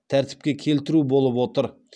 тәртіпке келтіру болып отыр